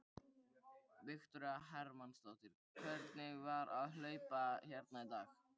Viktoría Hermannsdóttir: Hvernig var að hlaupa hérna í dag?